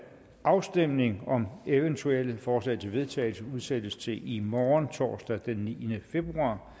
afstemning om eventuelle forslag til vedtagelse udsættes til i morgen torsdag den niende februar